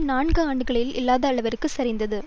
நான்கு ஆண்டுகளில் இல்லாத அளவிற்கு சரிந்தது